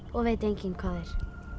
og veit enginn hvað er